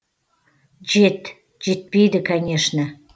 жет жетпейді конечно